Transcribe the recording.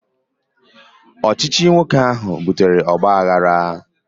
Ọchịchị nwoke ahụ butere ogbaaghara